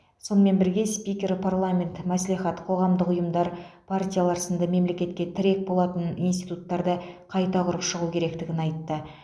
сонымен бірге спикер парламент мәслихат қоғамдық ұйымдар партиялар сынды мемлекетке тірек болатын институттарды қайта құрып шығу керектігін айтты